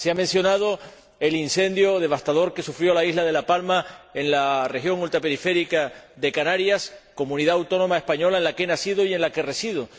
Se ha mencionado el incendio devastador que sufrió la isla de La Palma, en la región ultraperiférica de Canarias, comunidad autónoma española en la que he nacido y en la que resido.